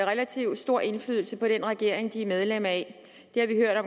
relativt stor indflydelse på den regering de er medlem af det har vi hørt